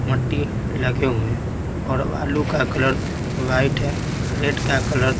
मट्टी लगे हुए हैं और आलू का कलर व्हाइट है रेड का कलर --